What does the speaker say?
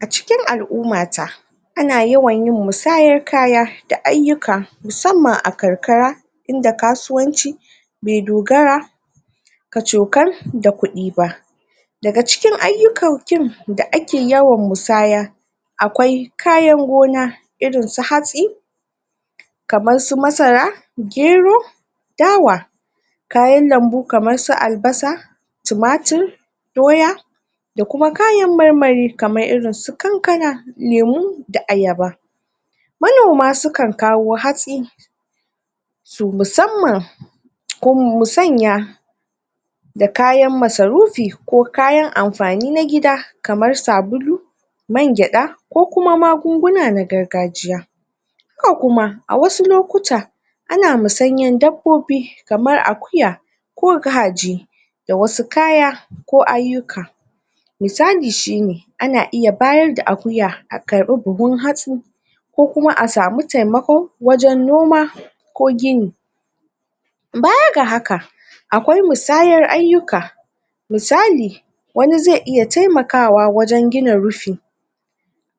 A cikin alumma ta a na yawan yin musayar kaya da ayuka musamman a karƙara inda kasuwanci me dogara kacokar da kudi ba da ga cikin ayukaukin da ake yawan musaya akwai kayan gona irin su hatsi kamar su masara, gero dawa kayan lambu kamar su albasa tumatur doya da kuma kayan marmari kamar irin su ƙaƙana lemu da ayaba manoma su kan kawo hatsi su musamman mu sanya da kayan masarufi ko kayan amfani na gida kamar sabulu man geda, ko kuma magunguna na gargajiya haka kuma, a wasu lokuta ana musanyan dabobi kamar akuya ko kaji da wasu kaya ko ayuka misalli shi ne a na iya bayar da akuya a kari buhun hatsu ko kuma a samu taimako wajen noma ko gini. Baya ga haka, akwai mutsayar ayuka misali wani ze iay taimakawa wajen gina rufi